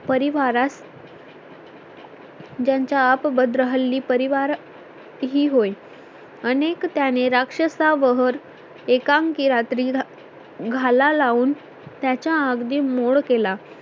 परिवारात ज्याचा आप भद्र हल्ली परिवार ही होईल अनेक त्याने राक्षसा वर एकांकी रात्री घाला लावून त्याच्या अगदी मोड केला